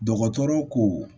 Dɔgɔtɔrɔ ko